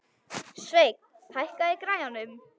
Sveinn, hækkaðu í græjunum.